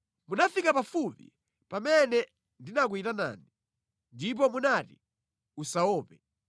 Munafika pafupi pamene ndinakuyitanani, ndipo munati, “Usaope.”